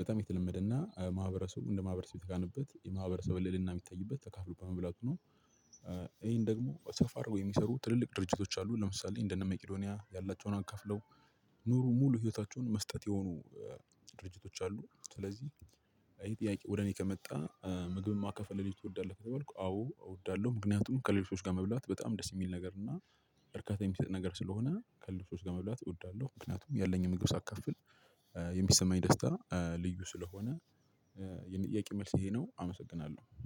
በጣም የተለመደና ማህበረሰቡ እንደ ማህበረሰቡ የተካነበት የማህበረሰብ ልልና የሚታይበት ተካፍሎ በመብላቱ ነው። ይሄን ደግሞ ሰፋ አድርጎ የሚሰሩ ትልልቅ ድርጅቶች አሉ። ለምሳሌ እንደነመቂዶንያ ያላቸውን አካፍለው ኑሩ ሙሉ ህይወታቸውን መስጠት የሆኑ ድርጅቶች አሉ። ስለዚህ ይሄ ጥያቄ ወደ እኔ ከመጣ ምግብን ማከፈል ሌሎች ትወዳለህ ከሆነ አዎ እወዳለሁ። ምክንያቱም ከሌሎች ጋር መብላት በጣም ደስ የሚል ነገር እና እርካታ የሚሰጥ ነገር ስለሆነ ከሌሎች ሰዎች ጋር መብላት እወዳለሁ። ምክንያቱም ያለኝን ምግብ ሳካፍል የሚሰማኝ ደስታ ልዩ ስለሆነ። የኔ ጥያቄ መልስ ይሄ ነው አመሰግናለሁ።